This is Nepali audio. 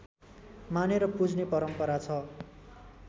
मानेर पुज्ने परम्परा छ